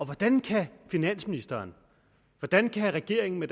hvordan kan finansministeren hvordan kan regeringen med